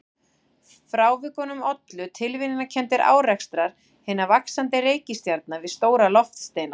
Frávikunum ollu tilviljanakenndir árekstrar hinna vaxandi reikistjarna við stóra loftsteina.